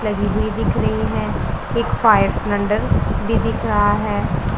लगी हुई दिख रही है एक फायर सिलेंडर भी दिख रहा है।